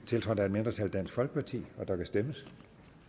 tiltrådt af et mindretal der kan stemmes